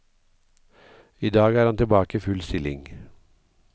I dag er han tilbake i full stilling.